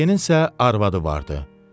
Lekadyenin isə arvadı vardı.